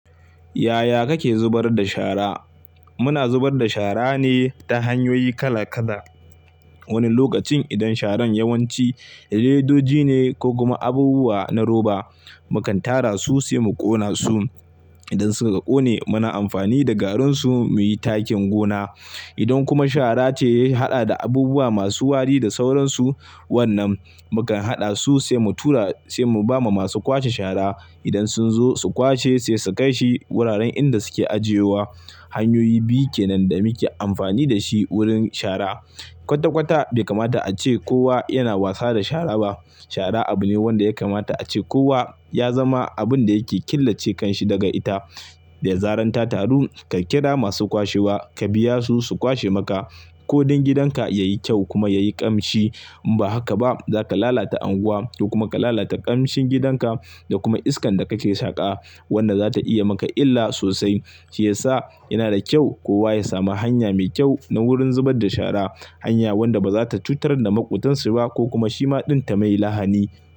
Yaya kake zubar da shara? Muna zubar da shara ne ta hanyoyi kala-kala. Wani lokacin idan sharan yawanci ledoji ne ko kuma abubuwa na roba, mukan tara su sai mu ƙona su. Idan suka ƙone muna amfani da garin su muyi takin gona. Idan kuma shara ce ya haɗa da abubuwa masu wari da sauransu, wannan mukan haɗa su sai mu tura sai mu ba ma masu kwashe shara. Idan sun zo su kwashe sai su kai shi wuraren inda suke ajiyewa. Hanyoyi biyu kenan da muke amfani da shi wurin shara. Kwata-kwata bai kamata a ce kowa yana wasa da shara ba. Shara abu ne wanda ya kamata a ce kowa ya zama abun da yake killace kanshi daga ita. Da ya zaran ta taru ka kira masu kwashewa, ka biya su, su kwashe maka. Ko don gidan ka ya yi kyau kuma ya yi ƙamshi. In ba haka ba zaka lalata unguwa ko kuma ka lalata ƙamshin gidanka da kuma iskan da kake shaƙa. Wanda za ta iya maka illa sosai. Shi yasa yana da kyau kowa ya sami hanya mai kyau na wurin zubar da shara. Hanya wadda ba za ta cutar da maƙotansu ba ko kuma shi ma ɗin ta yi mai lahani.